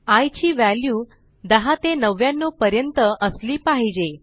I ची value 10 ते 99 पर्यंत असली पाहिजे